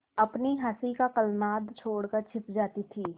अपनी हँसी का कलनाद छोड़कर छिप जाती थीं